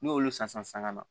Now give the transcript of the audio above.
N'olu san san ka na